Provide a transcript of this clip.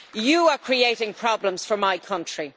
You are creating problems for my country.